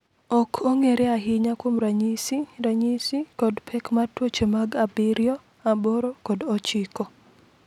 Ok ong’ere ahinya kuom ranyisi, ranyisi, kod pek mar tuoche mag 7, 8 kod 9.